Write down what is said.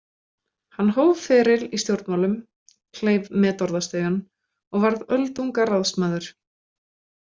Hann hóf feril í stjórnmálum, kleif metorðastigann og varð öldungaráðsmaður.